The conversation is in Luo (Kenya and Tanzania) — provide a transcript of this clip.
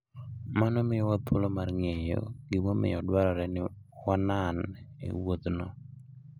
Mano miyowa thuolo mar ng'eyo gimomiyo dwarore ni wanan e wuodhno.